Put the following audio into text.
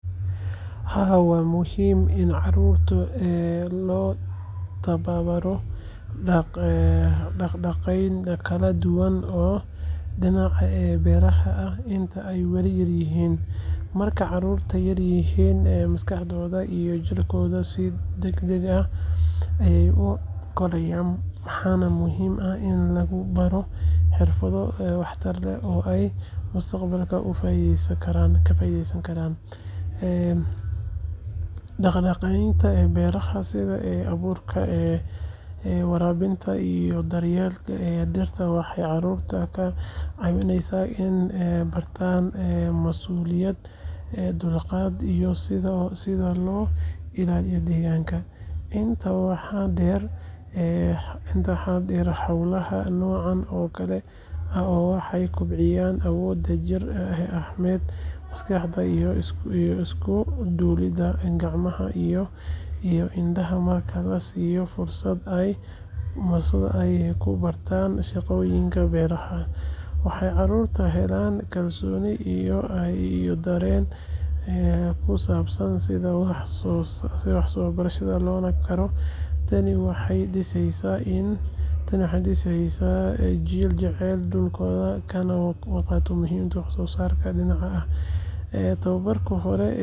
Haa, waa muhiim in carruurta loo tababaro dhaq-dhaqaaqyo kala duwan oo dhinaca beeraha ah inta ay weli yar yihiin. Markay carruurtu yaryihiin, maskaxdooda iyo jirkooduba si degdeg ah ayey u korayaan, waxaana muhiim ah in lagu baro xirfado waxtar leh oo ay mustaqbalka uga faa’iidaysan karaan. Dhaq-dhaqaaqyada beeraha sida abuurka, waraabinta, iyo daryeelka dhirta waxay carruurta ka caawiyaan in ay bartaan masuuliyad, dulqaad, iyo sida loo ilaaliyo deegaanka. Intaa waxaa dheer, hawlaha noocan oo kale ah waxay kobciyaan awoodda jir ahaaneed, maskaxeed iyo isku-duwidda gacmaha iyo indhaha. Marka la siiyo fursad ay ku bartaan shaqooyinka beeraha, waxay carruurtu helaan kalsooni iyo dareen ku saabsan sida wax loo beero loona koro. Tani waxay dhiseysaa jiil jecel dhulkooda, kana warqaba muhiimada wax soo saarka dabiiciga ah. Tababarka hore ee beeruhu waa maalgashi nololeed oo faa’iido u leh ilmaha iyo bulshada inteeda kale.